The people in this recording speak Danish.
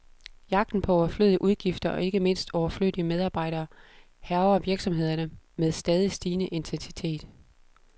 Jagten på overflødige udgifter, og ikke mindst overflødige medarbejdere, hærger virksomhederne med stadig stigende intensitet.